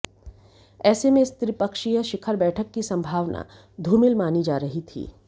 ऐसे में इस त्रिपक्षीय शिखर बैठक की संभावना धूमिल मानी जा रही थी